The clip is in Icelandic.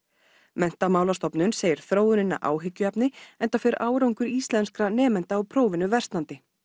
Menntamálastofnun segir þróunina áhyggjuefni enda fer árangur íslenskra nemenda á prófinu versnandi